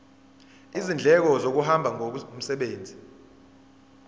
izindleko zokuhamba ngomsebenzi